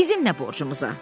Bizim nə borcumuza?